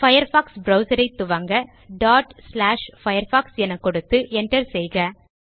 Firefox browserஐ துவங்க firefox என கொடுத்து Enterஐ செய்க